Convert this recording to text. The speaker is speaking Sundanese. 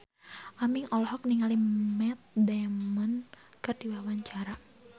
Aming olohok ningali Matt Damon keur diwawancara